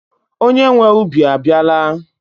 Onye nwee ubi abiala